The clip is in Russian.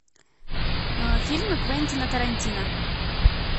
фильмы квентина тарантино